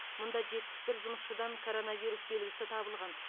мұнда жетпіс бір жұмысшыдан коронавирус белгісі табылған